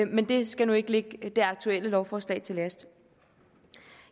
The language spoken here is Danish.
men det skal ikke ligge det aktuelle lovforslag til last